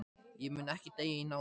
Ég mun ekki deyja í náðinni.